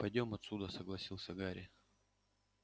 пойдём отсюда согласился гарри